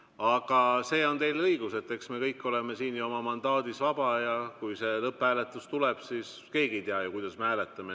Aga selles on teil õigus, et eks me kõik oleme siin oma mandaadis vabad ja kui see lõpphääletus tuleb, siis keegi ei tea ju, kuidas me hääletame.